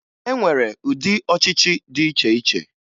E nwere ụdị ọchịchị dị iche iche